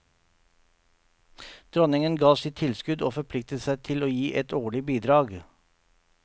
Dronningen ga sitt tilskudd og forpliktet seg til å gi et årlig bidrag.